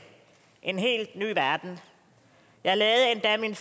en helt ny verden jeg lavede endda min